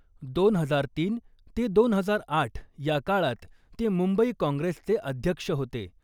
दोन हजार तीन ते दोन हजार आठ या काळात ते मुंबई काँग्रेसचे अध्यक्ष होते.